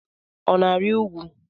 Ọ na-arị ugwu?